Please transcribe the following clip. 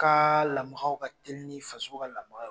Ka lamakaw ka teli ni faso ka lamaka